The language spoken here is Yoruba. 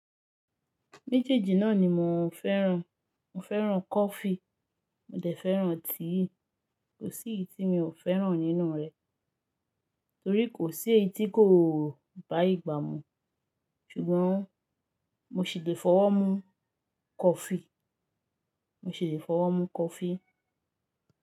Méjèèjì náà ni mò ń fẹ́ràn. Mo fẹ́ràn coffee, mo dẹ̀ fẹ́ràn tíì. Kò sí yi ti mí ò fẹ́ràn nínú rẹ, torí kò sí ẹyí tí kò báyi gbà mú. Ṣùgbọ́n mo ṣì le fọwọ́ mú coffee, mo ṣì le fọwọ́ mú coffee.